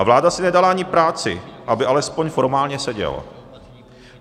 A vláda si nedala ani práci, aby alespoň formálně seděl.